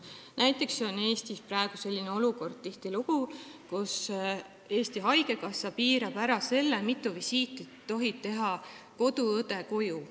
Näiteks on Eestis praegu tihtilugu selline olukord, kus Eesti Haigekassa piirab ära selle, mitu koduvisiiti tohib koduõde teha.